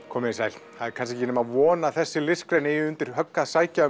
komiði sæl það er kannski ekki nema von að þessi listgrein eigi undir högg að sækja